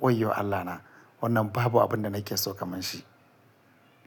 Wayyo Allahna! Wannan babu abin da nake so kamar shi.